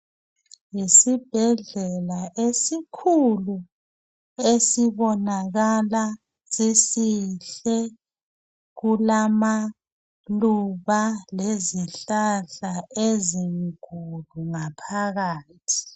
Yisibhedlela esikhulu esibonakala sisihle, kulamaluba lezihlahla ezinkulu ngaphakathi.